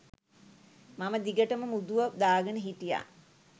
මම දිගටම මුදුව දාගෙන හිටියා.